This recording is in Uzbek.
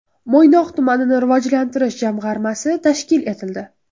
Mo‘ynoq tumanini rivojlantirish jamg‘armasi tashkil etildi.